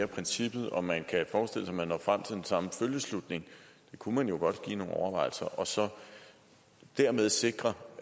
princippet og om man kan forestille sig at man når frem til den samme følgeslutning det kunne man jo godt give nogle overvejelser og så dermed sikre